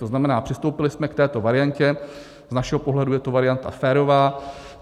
To znamená, přistoupili jsme k této variantě, z našeho pohledu je to varianta férová.